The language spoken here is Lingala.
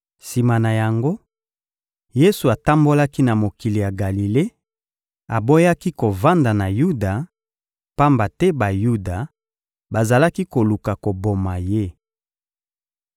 Sima na yango, Yesu atambolaki na mokili ya Galile, aboyaki kovanda na Yuda, pamba te Bayuda bazalaki koluka koboma Ye.